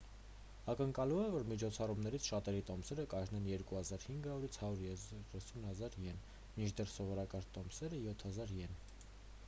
ակնկալվում է որ միջոցառումներից շատերի տոմսերը կարժենան 2 500-130 000 իեն մինչդեռ սովորական տոմսերը 7 000 իեն